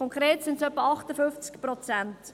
Konkret handelt es sich um circa 58 Prozent.